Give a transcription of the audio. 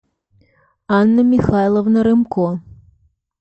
анна михайловна рымко